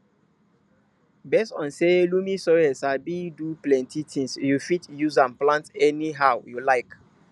based on say loamy soil sabi do plenty tins you fit use am plant anyhow you like